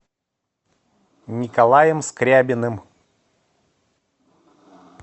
николаем скрябиным